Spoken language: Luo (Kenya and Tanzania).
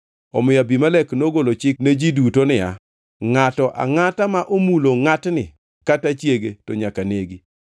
Omiyo Abimelek nogolo chik ne ji duto niya, “Ngʼato angʼata ma omulo ngʼatni kata chiege to nyaka negi.”